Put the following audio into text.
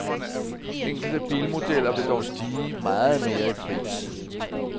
Enkelte bilmodeller vil dog stige meget mere i pris.